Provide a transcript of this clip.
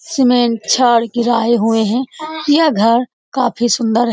Cement छड़ गिराए हुए हैं यह घर काफी सुन्दर है।